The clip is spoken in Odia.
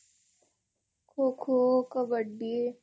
ଖୋ ଖୋ କବାଡ଼ି